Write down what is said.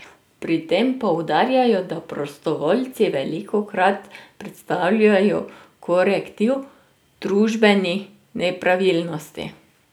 Pri tem poudarjajo, da prostovoljci velikokrat predstavljajo korektiv družbenih nepravilnosti.